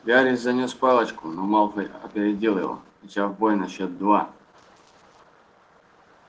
гарри занёс палочку но малфой опередил его начав бой на счёт два